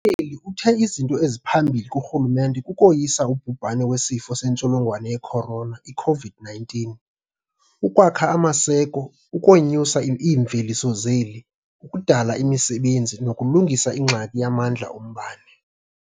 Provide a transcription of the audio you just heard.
Uthe izinto eziphambili kurhulumente kukoyisa ubhubhane weSifo seNtsholongwane ye-Corona, i-COVID-19, ukwakha amaseko, ukonyusa iimveliso zeli, ukudala imisebenzi nokulungisa ingxaki yamandla ombane.